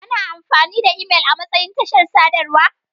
Ana amfani da imel amatsayin tashar sadarwa.